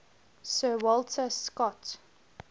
sir walter scott